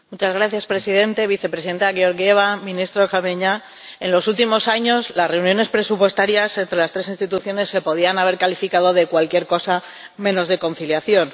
Señor Presidente, Vicepresidenta Georgieva, Ministro Gramegna, en los últimos años las reuniones presupuestarias entre las tres instituciones se podían haber calificado de cualquier cosa menos de conciliación.